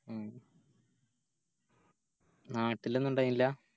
ഉം നാട്ടിലൊന്നു ഇണ്ടായിനില്ല